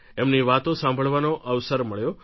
એમની વાતો સાંભળવાનો અવસર મળ્યો